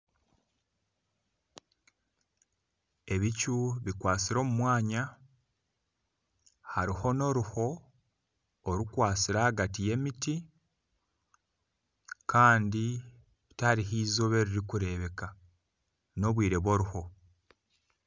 Ebicu bikwasire omumwanya haruho n'oruho orukwasire ahagati y'emiti Kandi tiharuho izooba erirukureebeka n'obwire bw'oruho.